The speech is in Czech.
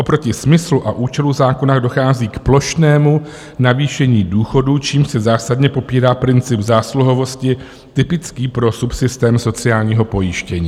Oproti smyslu a účelu zákona dochází k plošnému navýšení důchodů, čímž se zásadně popírá princip zásluhovosti typický pro subsystém sociálního pojištění.